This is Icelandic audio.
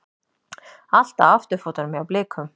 Allt á afturfótunum hjá Blikum